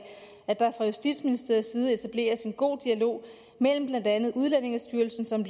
at der fra justitsministeriets side etableres en god dialog mellem blandt andet udlændingestyrelsen som